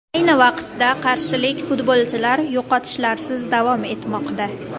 Ayni vaqtda qarshilik futbolchilar yo‘qotishlarsiz davom etmoqda.